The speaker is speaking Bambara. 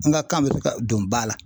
An ka kan bɛ se ka don ba la.